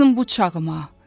qayıtsın bu çağıma.